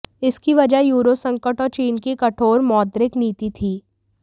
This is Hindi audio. इसकी वजह यूरो संकट ओर चीन की कठोर मौद्रिक नीति थी